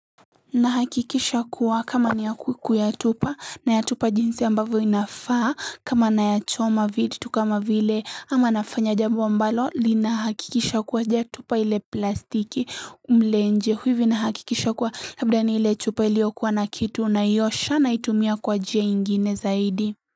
Nahakikisha kuwa kama niya kwiku ya tupa nayatupa jinsi ambavyo inafaa kama naya choma vitu tu kama vile ama nafanya jambo ambalo linahakikisha kuwa y tupa ile plastiki mle nje huivi nahakikisha kuwa labda ni ile tupa iliokuwa na kitu naiyosha na itumia kwa njia ingine zaidi.